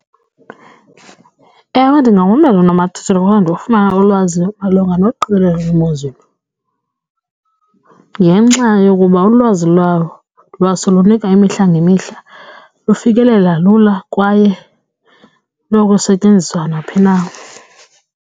Ewe, ndingawumamela unomathotholo kodwa ndiwufumana ulwazi malunga noqikelelo lwemozulu ngenxa yokuba ulwazi lwalo lwaso lunika imihla ngemihla lufikelela lula kwaye lunokusetyenziswa naphi na.